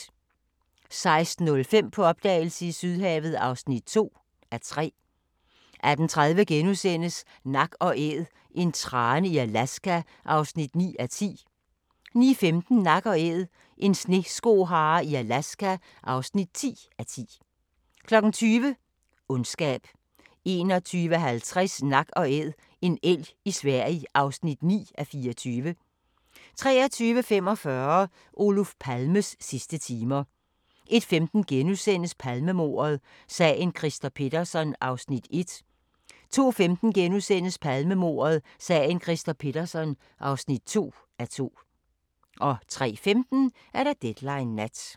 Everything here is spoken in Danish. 16:05: På opdagelse i Sydhavet (2:3) 18:30: Nak & Æd – en trane i Alaska (9:10)* 19:15: Nak & Æd – en sneskohare i Alaska (10:10) 20:00: Ondskab 21:50: Nak & Æd - en elg i Sverige (9:24) 23:45: Olof Palmes sidste timer 01:15: Palmemordet: Sagen Christer Pettersson (1:2)* 02:15: Palmemordet: Sagen Christer Pettersson (2:2)* 03:15: Deadline Nat